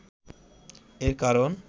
এর কারণ